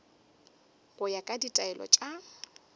go ya ka ditaelo tša